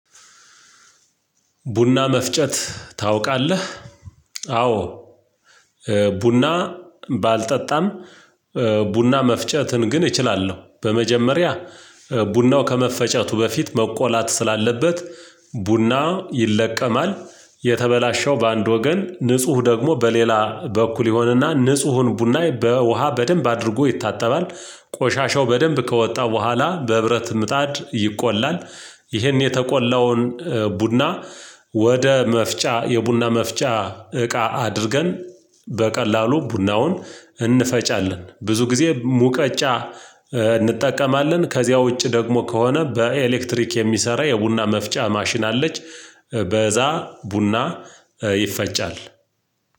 ቡና መፍጨት ታውቃለህ? አዎ ቡና ባልጠጣም ቡና መፍጨትን ግን እችላለሁ በመጀመሪያ ቡናው ከመፈጨቱ በፊት መቆላት ስላለበት ቡና ይለቀማል የተበላሸው በአንድ ወገን ንጹህ ደግሞ በሌላ በኩል ይሆንና ንጹሁን ቡናይ በውሃ በደንብ አድርጎ ይታጠባል ቆሻሻው በደንብ ከወጣ በኋላ በብረት ምጣድ ይቆላል። ይሄን የተቆላውን ቡና ወደ መፍጫ የቡና መፍጫ እቃ አድርገን በቀላሉ ቡናውን እንፈጫለን። ብዙ ጊዜ ሙቀጫ እንጠቀማለን ከዚያ ውጪ ደግሞ ከሆነ በኤሌክትሪክ የሚሰራ የቡና መፍጫ ማሽን አለች። በዛ ቡና ይፈጫል።